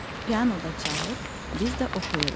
Pianoda çalır, biz də oxuyuruq.